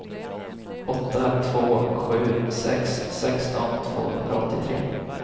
åtta två sju sex sexton tvåhundraåttiotre